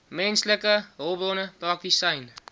menslike hulpbronne praktisyn